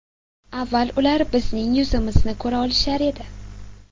Avval ular bizning yuzimizni ko‘ra olishar edi.